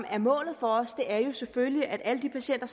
er målet for os er jo selvfølgelig at alle de patienter